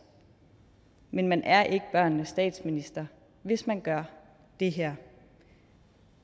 men man er ikke børnenes statsminister hvis man gør det her